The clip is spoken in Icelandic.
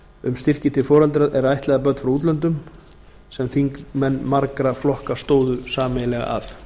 um styrki til foreldra er ættleiða börn frá útlöndum sem þingmenn margra flokka stóðu sameiginlega að